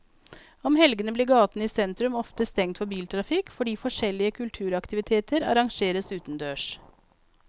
Om helgene blir gatene i sentrum ofte stengt for biltrafikk fordi forskjellige kulturaktiviteter arrangeres utendørs.